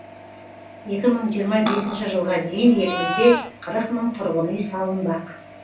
екі мың жиырма бесінші жылға дейін елімізде қырық мың тұрғын үй салынбақ